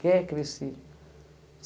Quer crescer.